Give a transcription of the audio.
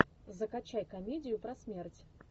закачай комедию про смерть